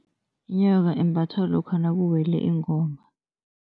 Inyoka imbathwa lokha nakuwelwe ingoma.